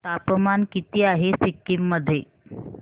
तापमान किती आहे सिक्किम मध्ये